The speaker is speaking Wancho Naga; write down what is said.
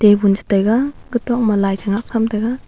chetaiga ketok ma lai chingak tham taiga.